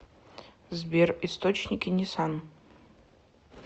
сбер источники нисан